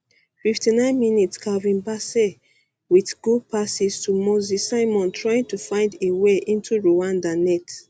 fifty nine mins calvin bassey wit good pass to moses simon trying to find way into rwanda net